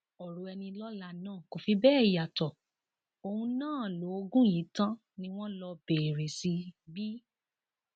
ọrọ ẹnilọlá náà kò fi bẹẹ yàtọ òun náà lóògùn yìí tán ni wọn lọ bẹrẹ sí í bí